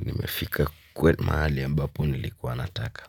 Nimefika kwa mahali ambapo nilikuwa nataka.